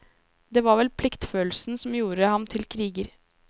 Det var vel pliktfølelsen som gjorde ham til kriger.